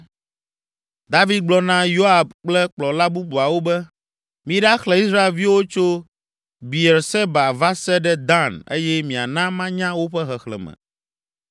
David gblɔ na Yoab kple kplɔla bubuawo be, “Miɖaxlẽ Israelviwo tso Beerseba va se ɖe Dan eye miana manya woƒe xexlẽme.”